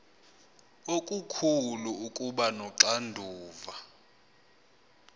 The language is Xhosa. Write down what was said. okukhulu ukuba noxanduva